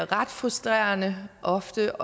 ret frustrerende ofte